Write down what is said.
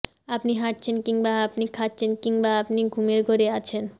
আপনি হাঁটছেন কিংবা আপনি খাচ্ছেন কিংবা আপনি ঘুমের ঘোরে আছেন